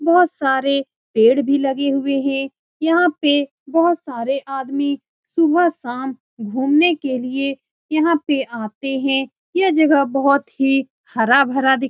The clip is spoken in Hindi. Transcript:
बहुत सारे पेड़ भी लगे हुए हैं यहाँ पे बहुत सारे आदमी सुबह-शाम घुमने के लिए यहाँ पे आते हैं यह जगह बहुत ही हरा-भरा दिख --